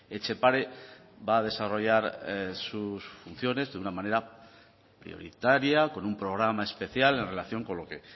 etxepare va a desarrollar sus funciones de una manera prioritaria con un programa especial en relación con lo que